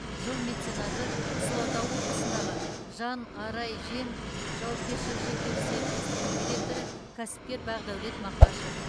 жыл меценаты қызылорда облысындағы жан арай жем жауапкершілігі шектеулі серіктестігінің директоры кәсіпкер бақдәулет мақашев